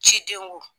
Ciden wo